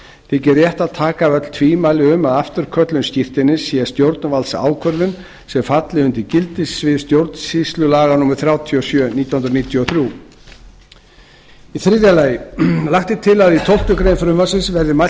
þykir rétt að taka af öll tvímæli um að afturköllun skírteinis sé stjórnvaldsákvörðun sem falli undir gildissvið stjórnsýslulaga númer þrjátíu og sjö nítján hundruð níutíu og þrjú þriðja lagt er til að í tólftu greinar frumvarpsins verði mælt